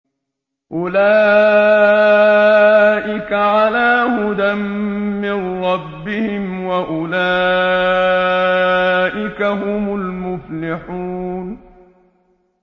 أُولَٰئِكَ عَلَىٰ هُدًى مِّن رَّبِّهِمْ ۖ وَأُولَٰئِكَ هُمُ الْمُفْلِحُونَ